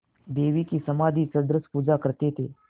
देवी की समाधिसदृश पूजा करते थे